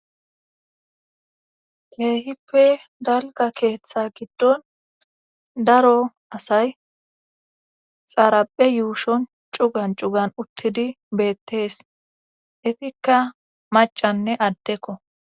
keehippe dalga keeththa giddon daro asay xaaraphe yuushon cugan cugan uttidi beettees etikka macanne addekko